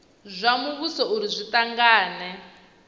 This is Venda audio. zwa muvhuso uri zwi tanganedze